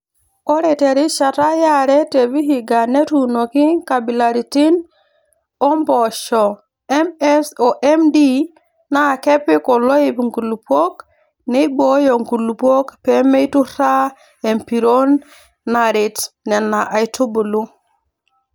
Ore terishata yare te Vihiga netuunoki nkabilaritin oompoosho MS oMD naakepik oloip nkulupuok neibooyo nkulupuok peemeiturraa empiron naret Nena aitubulu.